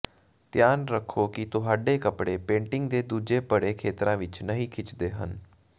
ਧਿਆਨ ਰੱਖੋ ਕਿ ਤੁਹਾਡੇ ਕੱਪੜੇ ਪੇਂਟਿੰਗ ਦੇ ਦੂਜੇ ਭਰੇ ਖੇਤਰਾਂ ਵਿੱਚ ਨਹੀਂ ਖਿੱਚਦੇ ਹਨ